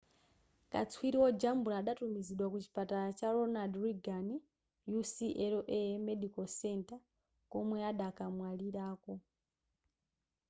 katswiri wojambula adatumizidwa ku chipatala cha ronald reagan ucla medical center komwe adakamwalirako